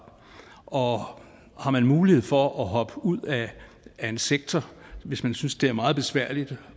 og har man mulighed for at hoppe ud af en sektor hvis man synes det er meget besværligt